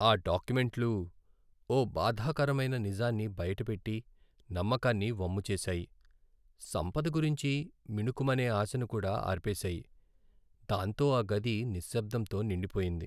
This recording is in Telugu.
ఆ డాక్యుమెంట్లు ఓ బాధాకరమైన నిజాన్ని బయటపెట్టి, నమ్మకాన్ని వమ్ము చేసాయి. సంపద గురించి మిణుకుమనే ఆశను కూడా అర్పేశాయి. దాంతో ఆ గది నిశ్శబ్దంతో నిండిపోయింది.